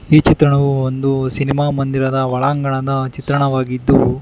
ಈ ಚಿತ್ರಣವು ಒಂದು ಸಿನಿಮಾ ಮಂದಿರದ ಒಳಾಂಗಣದ ಚಿತ್ರಣವಾಗಿದ್ದು--